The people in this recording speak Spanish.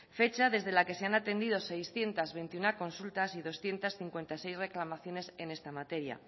fecha desde la que se han atendido seiscientos veintiuno consultas y doscientos cincuenta y seis reclamaciones en esta materia